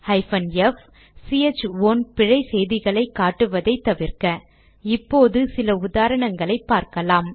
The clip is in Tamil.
f சிஹெச் ஓன் பிழை செய்திகளை காட்டுவதை தவிர்க்க இப்போது சில உதாரணங்களை பார்க்கலாம்